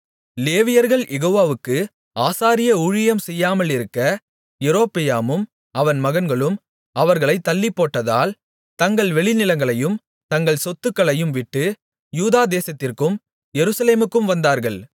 லேவியர்கள் யெகோவாவுக்கு ஆசாரிய ஊழியம் செய்யாமலிருக்க யெரொபெயாமும் அவன் மகன்களும் அவர்களைத் தள்ளிப்போட்டதால் தங்கள் வெளிநிலங்களையும் தங்கள் சொத்துக்களையும்விட்டு யூதா தேசத்திற்கும் எருசலேமுக்கும் வந்தார்கள்